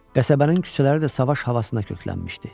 Qəsəbənin küçələri də savaş havasına köklənmişdi.